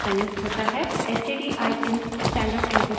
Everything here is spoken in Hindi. stdin stdin standard input stream है